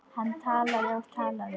Hann talaði og talaði.